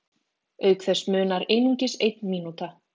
auk þess munar einungis einn mínúta